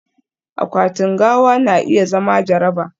akwatin gawa na iya zama jaraba